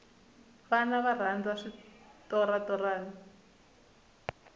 vana va rhandza switorana